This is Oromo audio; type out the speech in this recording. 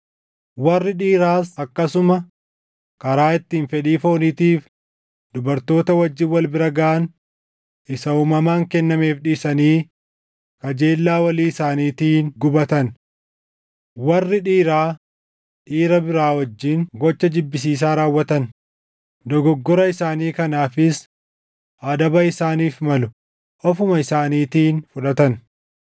Warri dhiiraas akkasuma karaa ittiin fedhii fooniitiif dubartoota wajjin wal bira gaʼan isa uumamaan kennameef dhiisanii kajeellaa walii isaaniitiin gubatan. Warri dhiiraa, dhiira biraa wajjin gocha jibbisiisaa raawwatan; dogoggora isaanii kanaafis adaba isaaniif malu ofuma isaaniitiin fudhatan.